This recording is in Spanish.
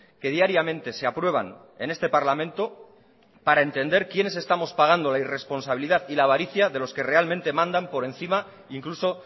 que diariamente se aprueban en este parlamento para entender quienes estamos pagando la irresponsabilidad y la avaricia de los que realmente mandan por encima incluso